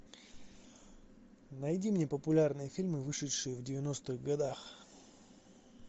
найди мне популярные фильмы вышедшие в девяностых годах